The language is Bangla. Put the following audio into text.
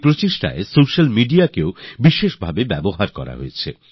এই মিশনে সোস্যাল মিডিয়াকে সবরকমভাবে ব্যবহার করা হল